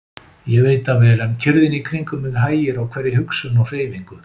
Ég veit það vel, en kyrrðin í kringum mig hægir á hverri hugsun og hreyfingu.